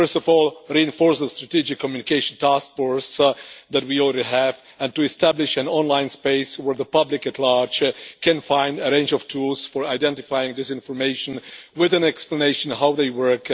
First of all, reinforce the Strategic Communication Task Force that we already have, and establish an online space where the public at large can find a range of tools for identifying this information, with an explanation of how they work